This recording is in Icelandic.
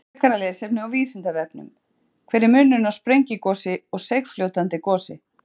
Frekara lesefni á Vísindavefnum: Hver er munurinn á sprengigosi og seigfljótandi gosi?